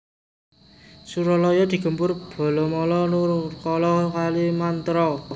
Suralaya digempur balamala Nurkala Kalimantra